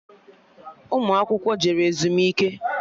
Ụmụ akwụkwọ jere ezumike